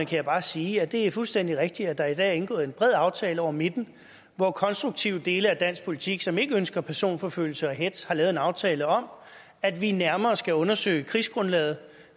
kan jeg bare sige at det er fuldstændig rigtigt at der i dag er indgået en bred aftale hen over midten hvor konstruktive dele af dansk politik som ikke ønsker personforfølgelse og hetz har lavet en aftale om at vi nærmere skal undersøge krigsgrundlaget